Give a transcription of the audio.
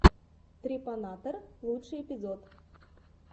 трепанатор лучший эпизод